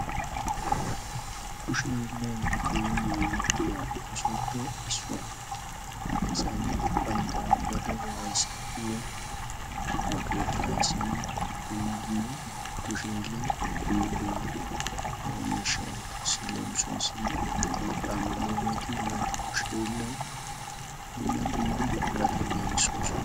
Kushe hiilay keehin yaynnetiyaa oossuwappe issuwaa, asa nay bantta ba de'uwaa ayssanawunne ba keettaa ayssanaw dumma dumma kushe hiilaan dumma dumma miishshaa oottees. Leemissuwassi urqqa mel"iyaageeti bantta kushshe hiila dumma dumma buqurata giigissosoona.